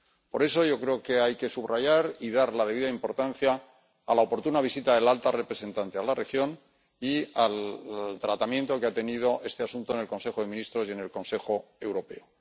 Por eso yo creo que hay que subrayar y dar la debida importancia a la oportuna visita de la alta representante a la región y al tratamiento que ha tenido este asunto en el Consejo de Ministros y en el Consejo Europeo.